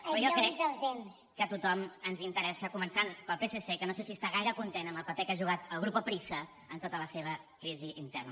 però jo crec que a tothom ens interessa començant pel psc que no sé si està gaire content amb el paper que ha jugat el grupo prisa en tota la seva crisi interna